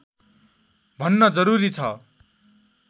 भन्न जरुरी छ